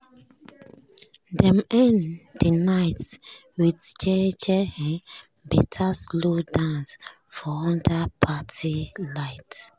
dem end de night with jeje um better slow dance for under parti light